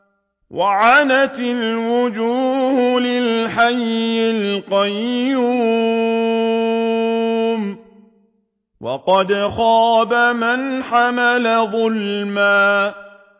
۞ وَعَنَتِ الْوُجُوهُ لِلْحَيِّ الْقَيُّومِ ۖ وَقَدْ خَابَ مَنْ حَمَلَ ظُلْمًا